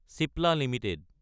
Cipla Ltd